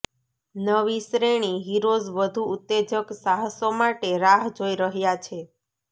નવી શ્રેણી હીરોઝ વધુ ઉત્તેજક સાહસો માટે રાહ જોઈ રહ્યા છે